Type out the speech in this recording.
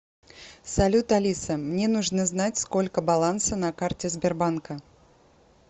салют алиса мне нужно знать сколько баланса на карте сбербанка